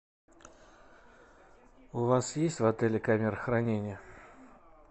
у вас есть в отеле камера хранения